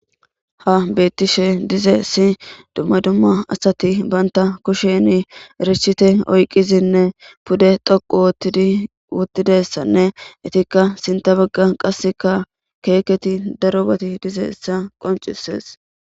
Ha betishe dizaysi duma duma asati kushe richiti oykidinne pude dhoqu ottidi uttidaysanne sinta bagan qasekka kehi darobay dizaysa qoncises